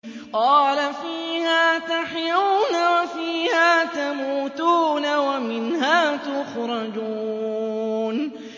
قَالَ فِيهَا تَحْيَوْنَ وَفِيهَا تَمُوتُونَ وَمِنْهَا تُخْرَجُونَ